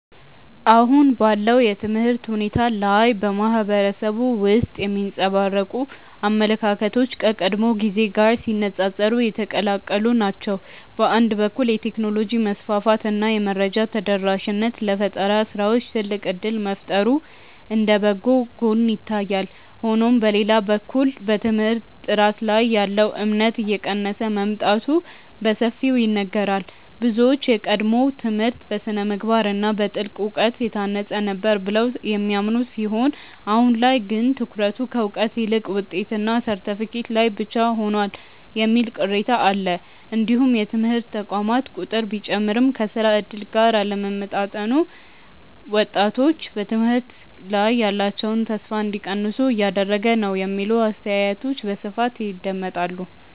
አሁን ባለው የትምህርት ሁኔታ ላይ በማህበረሰቡ ውስጥ የሚንጸባረቁ አመለካከቶች ከቀድሞው ጊዜ ጋር ሲነፃፀሩ የተቀላቀሉ ናቸው። በአንድ በኩል የቴክኖሎጂ መስፋፋት እና የመረጃ ተደራሽነት ለፈጠራ ስራዎች ትልቅ እድል መፍጠሩ እንደ በጎ ጎን ይታያል። ሆኖም በሌላ በኩል በትምህርት ጥራት ላይ ያለው እምነት እየቀነሰ መምጣቱ በሰፊው ይነገራል። ብዙዎች የቀድሞው ትምህርት በስነ-ምግባር እና በጥልቅ እውቀት የታነጸ ነበር ብለው የሚያምኑ ሲሆን አሁን ላይ ግን ትኩረቱ ከእውቀት ይልቅ ውጤትና ሰርተፍኬት ላይ ብቻ ሆኗል የሚል ቅሬታ አለ። እንዲሁም የትምህርት ተቋማት ቁጥር ቢጨምርም ከስራ እድል ጋር አለመጣጣሙ ወጣቶች በትምህርት ላይ ያላቸውን ተስፋ እንዲቀንሱ እያደረገ ነው የሚሉ አስተያየቶች በስፋት ይደመጣሉ።